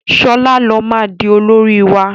Shola ló má dì olórí wá!